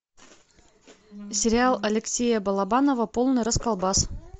сериал алексея балабанова полный расколбас